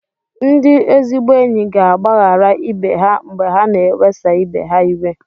Ndị ezigbo enyi ga-agbaghara ibe ha mgbe ha na-ewesa ibe ha iwe.